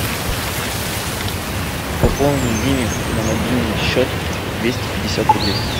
пополнить диме на мобильный счет двести пятьдесят рублей